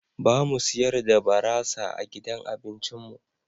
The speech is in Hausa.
Ba mu siyar da barasa a gidan abincin mu.